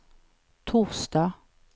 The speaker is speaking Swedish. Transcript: torsdag